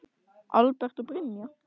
Albert og Brynja.